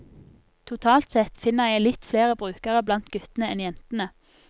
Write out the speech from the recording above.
Totalt sett finner jeg litt flere brukere blant guttene enn jentene.